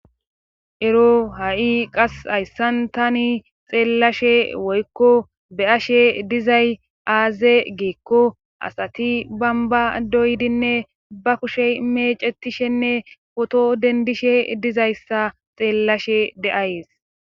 ero ha7i qas hayssan tani xeellashe woykko be ashe dizay aaze giikko asati bamba doydinne ba kushe mecetishenne poto dendishe dizayssa xeellashe de7ayes